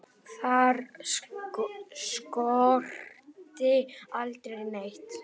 Þar skorti aldrei neitt.